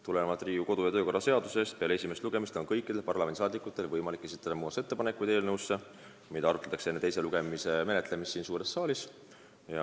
Tulenevalt Riigikogu kodu- ja töökorra seadusest on peale esimest lugemist kõikidel parlamendiliikmetel võimalik esitada muudatusettepanekuid eelnõu kohta, mida arutatakse enne teist lugemist siin suures saalis.